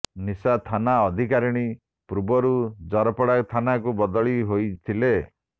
ନିଶା ଥାନା ଅଧିକାରିଣୀ ପୂର୍ବରୁ ଜରପଡ଼ା ଥାନାକୁ ବଦଳି ହୋଇଥିଲେ